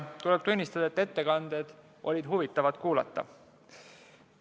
Tuleb tunnistada, et ettekanded olid huvitavad kuulata.